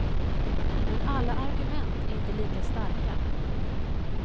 Men alla argument är inte lika starka.